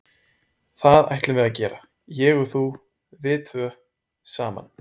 Það ætlum við að gera, ég og þú, við tvö, saman.